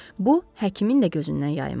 Bu həkimin də gözündən yayınmadı.